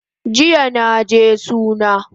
Jiya naje suna